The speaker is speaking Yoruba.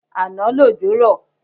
Àná lòjò rọ̀